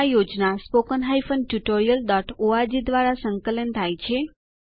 આ યોજના httpspoken tutorialorg દ્વારા અનુબદ્ધ છે